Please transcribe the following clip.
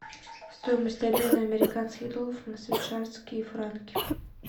стоимость обмена американских долларов на швейцарские франки